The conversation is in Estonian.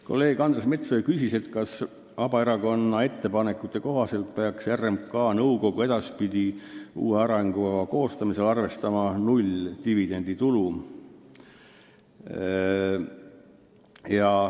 Kolleeg Andres Metsoja küsis, kas Vabaerakonna ettepanekute kohaselt peaks RMK nõukogu edaspidi arengukava koostamisel arvestama null dividenditulu.